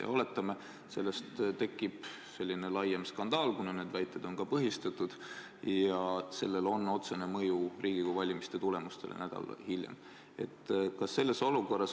Ja oletame, et sellest tekib suurem skandaal, kuna ebaseadusliku rahastamise väited on ka põhistatud, ja sellel on otsene mõju Riigikogu valimiste tulemustele nädal hiljem.